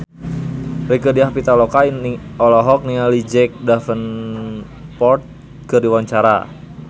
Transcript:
Rieke Diah Pitaloka olohok ningali Jack Davenport keur diwawancara